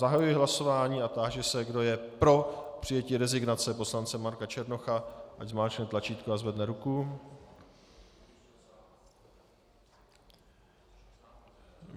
Zahajuji hlasování a táži se, kdo je pro přijetí rezignace poslance Marka Černocha, ať zmáčkne tlačítko a zvedne ruku.